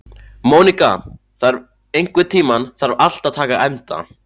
Móníka, einhvern tímann þarf allt að taka enda.